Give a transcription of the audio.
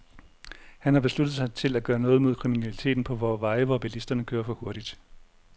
Han besluttet sig til at gøre noget mod kriminaliteten på vore veje, hvor bilisterne kører for hurtigt.